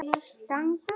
Kannski alla.